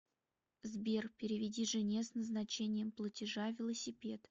сбер переведи жене с назначением платежа велосипед